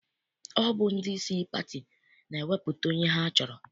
Ọ bụ ndị isi pati na-ewepụta onye ha chọrọ.